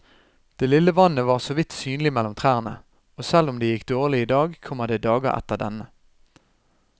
Det lille vannet var såvidt synlig mellom trærne, og selv om det gikk dårlig i dag, kommer det dager etter denne.